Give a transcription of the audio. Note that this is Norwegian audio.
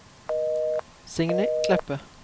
Signy Kleppe